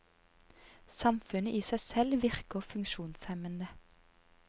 Samfunnet i seg selv virker funksjonshemmende.